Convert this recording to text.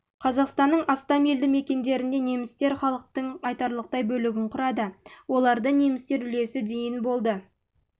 қазақстанның астам елді мекендерінде немістер халықтың айтарлықтай бөлігін құрады оларда немістер үлесі дейін болды қаралып